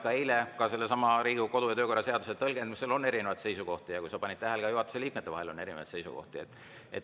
Ka eile oli sellesama Riigikogu kodu‑ ja töökorra seaduse tõlgendamisel erinevaid seisukohti ja võib-olla sa panid tähele, et juhatuse liikmetel on erinevaid seisukohti.